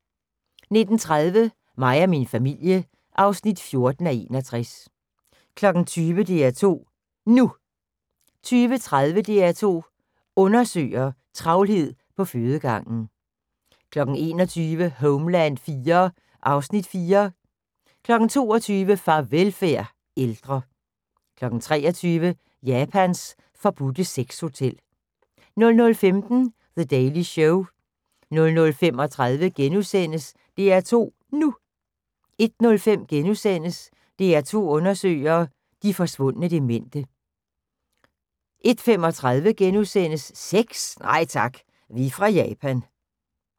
19:30: Mig og min familie (14:61) 20:00: DR2 NU 20:30: DR2 Undersøger: Travlhed på fødegangen 21:00: Homeland IV (Afs. 4) 22:00: Farvelfærd: Ældre 23:00: Japans forbudte sexhotel 00:15: The Daily Show 00:35: DR2 NU * 01:05: DR2 undersøger – de forsvundne demente * 01:35: Sex? Nej tak, vi er fra Japan *